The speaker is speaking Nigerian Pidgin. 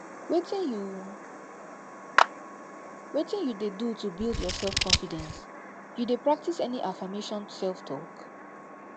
wetin you wetin you dey do to build your selfconfidence you dey practice any affirmation selftalk